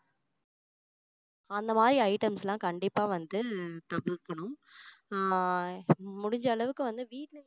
அந்த மாதிரி items எல்லாம் கண்டிப்பா வந்து தவிர்க்கணும் ஆஹ் முடிஞ்ச அளவுக்கு வந்து வீட்ல